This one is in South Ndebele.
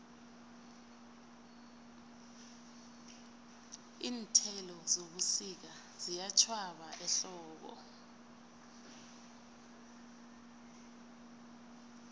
iinthelo zebusika ziyatjhwaba ehlobo